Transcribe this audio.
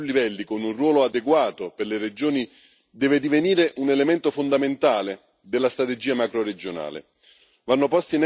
La governance a più livelli, con un ruolo adeguato per le regioni, deve divenire un elemento fondamentale della strategia macroregionale.